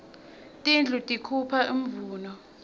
tindlu tikuipha imvuno